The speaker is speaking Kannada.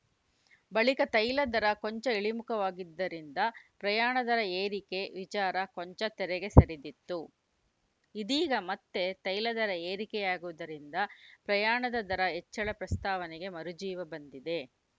ಬಳಿಕ ತೈಲ ದರ ಕೊಂಚ ಇಳಿಮುಖವಾಗಿದ್ದರಿಂದ ಪ್ರಯಾಣ ದರ ಏರಿಕೆ ವಿಚಾರ ಕೊಂಚ ತೆರೆಗೆ ಸರಿದಿತ್ತು ಇದೀಗ ಮತ್ತೆ ತೈಲ ದರ ಏರಿಕೆಯಾಗುವುದರಿಂದ ಪ್ರಯಾಣದ ದರ ಹೆಚ್ಚಳ ಪ್ರಸ್ತಾವನೆಗೆ ಮರುಜೀವ ಬಂದಿದೆ